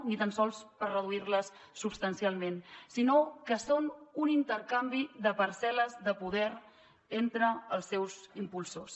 ni tan sols per reduir les substancialment sinó que són un intercanvi de parcel·les de poder entre els seus impulsors